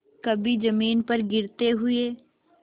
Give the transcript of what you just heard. कभी जमीन पर गिरते हुए